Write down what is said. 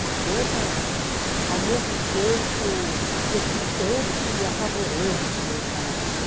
Uma coisa, ao mesmo tempo, excitante e apavorante no meu caso, né?